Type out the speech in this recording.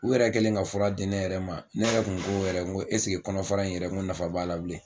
U yɛrɛ kɛlen ka fura di ne yɛrɛ ma ne yɛrɛ kun ko yɛrɛ n ko esege kɔnɔfara in yɛrɛ n ko nafan b'a la bilen.